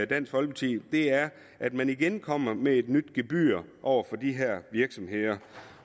dansk folkeparti er at man igen kommer med et nyt gebyr over for de her virksomheder